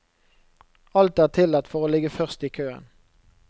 Alt er tillatt for å ligge først i køen.